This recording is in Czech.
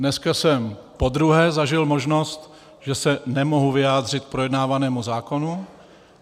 Dneska jsem podruhé zažil možnost, že se nemohu vyjádřit k projednávanému zákonu.